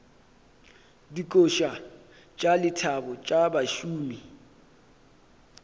dikoša tša lethabo tša bašomi